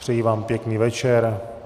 Přeji vám pěkný večer.